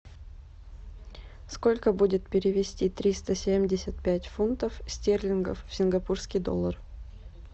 сколько будет перевести триста семьдесят пять фунтов стерлингов в сингапурский доллар